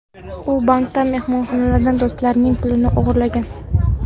U bankdan, mehmonxonalardan, do‘stlarining pulini o‘g‘irlagan.